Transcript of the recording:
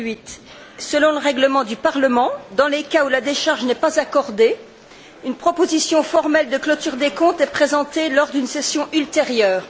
2008. Selon le règlement du Parlement, dans les cas où la décharge n'est pas accordée, une proposition formelle de clôture des comptes est présentée lors d'une session ultérieure.